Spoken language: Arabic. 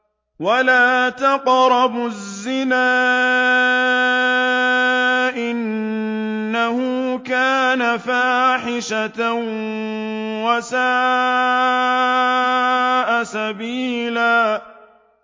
وَلَا تَقْرَبُوا الزِّنَا ۖ إِنَّهُ كَانَ فَاحِشَةً وَسَاءَ سَبِيلًا